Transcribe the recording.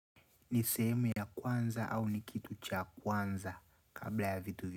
Ni sehemu ya kwanza au ni kitu cha kwanza kabla ya vitu.